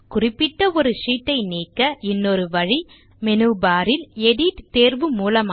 குறிப்பிட்ட ஒரு ஷீட் ஐ நீக்க இன்னொரு வழி மேனு பார் இல் எடிட் தேர்வு மூலமாக